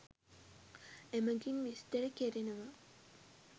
එමගින් විස්තර කෙරෙනවා.